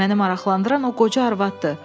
Məni maraqlandıran o qoca arvadıdır.